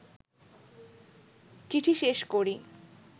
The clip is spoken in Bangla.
চিঠি শেষ করি